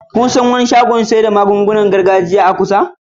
Kuna san wani shagon maganin gargajiya a kusa?